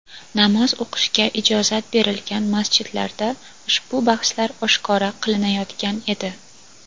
Namoz o‘qishga ijozat berilgan masjidlarda ushbu bahslar oshkora qilinayotgan edi.